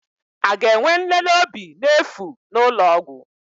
A ga-enwe nlele obi n'efu n'ụlọ ọgwụ?